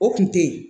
O kun tɛ ye